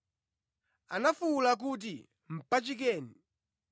Anafuwula kuti, “Mpachikeni!”